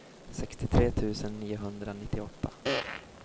sextiotre tusen niohundranittioåtta